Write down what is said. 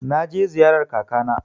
Na je ziyarar kaka na.